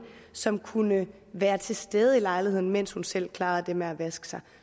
som kunne være til stede i lejligheden mens hun selv klarede det med at vaske sig